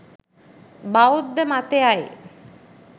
බෞද්ධ මතයයි.